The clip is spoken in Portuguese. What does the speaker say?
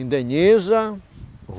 Indeniza.